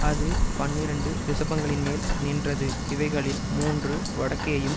அது பன்னிரண்டு ரிஷபங்களின்மேல் நின்றது இவைகளில் மூன்று வடக்கேயும்